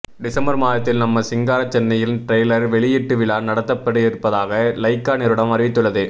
December மாதத்தில் நம்ம சிங்கார சென்னையில் டிரைலர் வெளியீட்டு விழா நடத்தப்படயிருப்பதாக லைகா நிறுவனம் அறிவித்துள்ளது